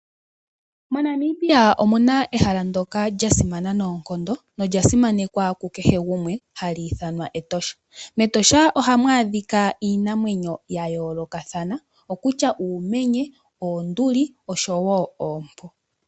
MoNamibia omuna ehala ndoka lya simana noonkondo nolya simanekwa kukehe gumwe hali ithanwa Etosha ,mEtosha ohamu adhika iinamwenyo ya yoolokathana okutya uumenye noonduli oshowo oompo .